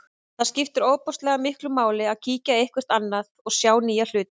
Það skiptir ofboðslega miklu máli að kíkja eitthvert annað og sjá nýja hluti.